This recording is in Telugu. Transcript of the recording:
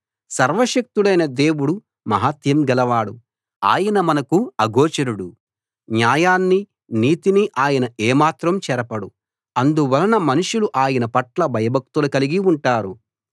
సర్వశక్తుడైన దేవుడు మహాత్మ్యం గలవాడు ఆయన మనకు అగోచరుడు న్యాయాన్ని నీతిని ఆయన ఏమాత్రం చెరపడు అందువలన మనుషులు ఆయనపట్ల భయభక్తులు కలిగి ఉంటారు